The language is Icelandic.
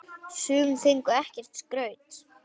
Sum fengu ekkert skraut.